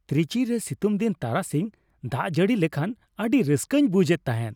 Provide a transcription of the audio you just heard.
ᱛᱨᱤᱪᱤ ᱨᱮ ᱥᱤᱛᱩᱝᱫᱤᱱ ᱛᱟᱨᱟᱥᱤᱧᱮ ᱫᱟᱜ ᱡᱟᱹᱲᱤ ᱞᱮᱠᱷᱟᱱ ᱟᱹᱰᱤ ᱨᱟᱹᱥᱠᱟᱹᱧ ᱵᱩᱡᱷ ᱮᱫ ᱛᱟᱦᱮᱸᱫ ᱾